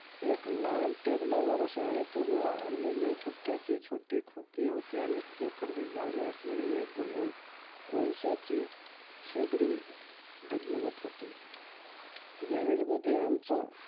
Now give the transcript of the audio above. एक लहान table वर शाळेतून आणलेले पुठ्ठ्याचे लहान खोके होते आणि लोखंडी जाळी असलेले एक गो कोळश्याचे शेगडी ढगमगत होती. Garage मध्ये आमचं